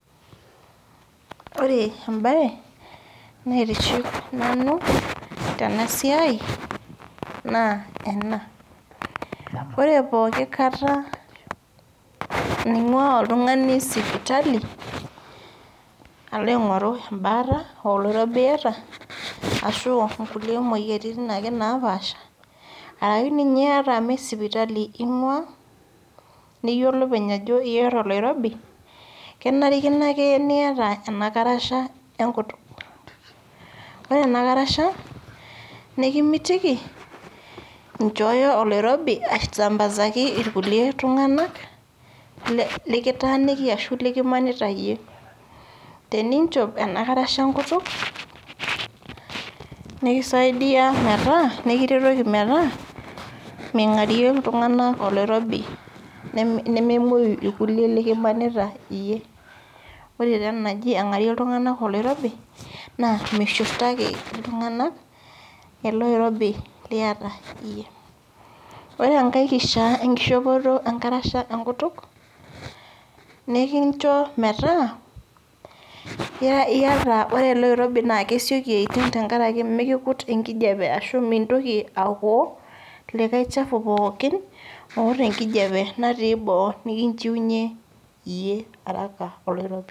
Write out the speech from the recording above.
Ore mbae naitiship nanu Tena siai naa ena ore pooki kata engua oltung'ani sipitali aloingoru ebaata aa oloirobi etaa aa kulie moyiaritin napashipasha arashu ninye mmee sipitali engua niyiolou openyano eyata oloirobi kenarikino ake niyata ena karasha enkutuk ore ena karasha mikimitiki enjooyo oloirobi asiambazaki irkulie tung'ana lekitaniki arashu likimanita iyie teninjop ena karasha enkutuk nikisaidia nikiretoki metaa mingarie iltung'ana oloirobi nememuyi ilkilie likimanita iyie ore taa yaangaki iltung'ana oloirobi naa mishurtaki ele oirobi liata iyie ore enkae kishaa enkoshopoto enkarashe ee nkutukuk nikinjoo metaa ore ele oirobi naa kesioki ayishunyu amu mikikut enkijiape ashu mintoki aokoo likae chafua pookin otaa enkijiape natii boo nikinjuinye iyie haraka oloirobi